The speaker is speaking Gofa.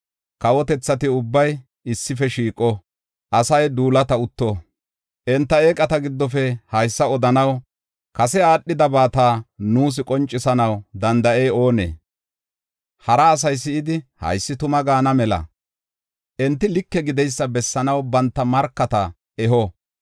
Kawotethati ubbay issife shiiqo; asay duulata utto. Enta eeqata giddofe haysa odanaw, kase aadhidabata nuus qoncisanaw danda7ey oonee? Hara asay si7idi, “Haysi tuma” gaana mela, enti like gideysa bessanaw banta markata eho.